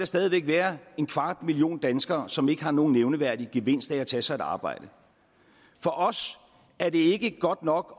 stadig væk være en kvart million danskere som ikke har nogen nævneværdig gevinst af at tage sig et arbejde for os er det ikke godt nok